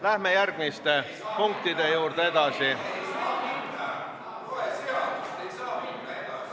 Läheme järgmiste punktide juurde edasi.